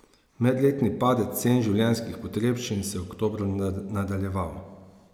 Medletni padec cen življenjskih potrebščin se je oktobra nadaljeval.